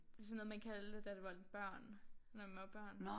Det sådan noget man kaldte det da det var børn når man var børn